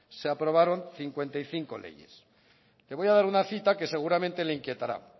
se aprobaron cincuenta y cinco leyes le voy a dar una cita que seguramente le inquietará